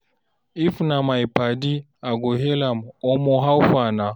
If na my padi, I go hail am, "Omo, how far na?"